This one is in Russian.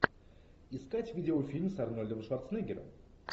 искать видеофильм с арнольдом шварценеггером